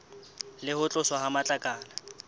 le ho tloswa ha matlakala